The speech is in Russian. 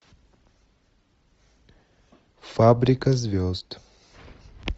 фабрика звезд